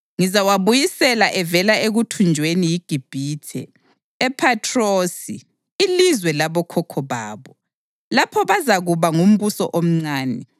Ngizawabuyisela evela ekuthunjweni yiGibhithe, ePhathrosi, ilizwe labokhokho babo. Lapho bazakuba ngumbuso omncane.